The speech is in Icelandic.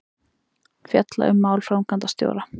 Fjalla um mál framkvæmdastjóra